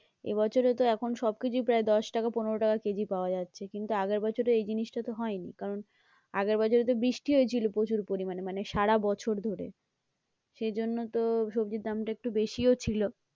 এবছরে তো এখন সব কিছুই প্রায় দশ টাকা পনেরো টাকা কেজি পাওয়া যাচ্ছে, কিন্তু আগের বছরে এই জিনিসটা তো হয়নি কারণ আগের বছরে তো বৃষ্টি হয়েছিল প্রচুর পরিমানে মানে সারা বছর ধরে সেইজন্য তো সবজির দামটা একটু বেশিও ছিল।